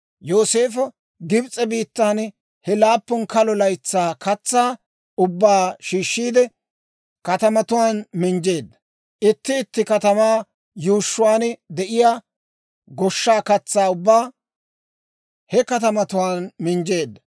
Yooseefo Gibs'e biittan he laappun kalo laytsaa katsaa ubbaa shiishshiide, katamatuwaan minjjeedda. Itti itti katamaa yuushshuwaan de'iyaa goshshaa katsaa ubbaa he katamatuwaan minjjeedda.